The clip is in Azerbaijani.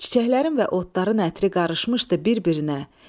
Çiçəklərin və otların ətri qarışmışdı bir-birinə.